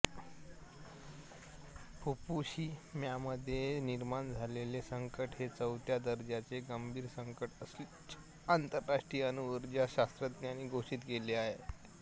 फुकुशिम्यामध्ये निर्माण झालेले संकट हे चौथ्या दर्जाचं गंभीर संकट असल्याचे आंतरराष्ट्रीय अणुऊर्जा शास्त्रज्ञांनी घोषित केले